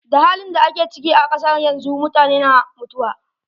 Da hain da ake ciki a kasa yanzu, mutane na mutuwa.